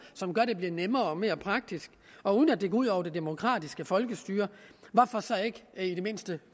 som gør at det bliver nemmere og mere praktisk og uden at det går ud over det demokratiske folkestyre hvorfor så ikke i det mindste